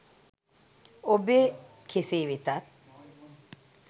ඔබේ කෙසේ වෙතත්